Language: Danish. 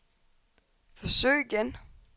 forsøg igen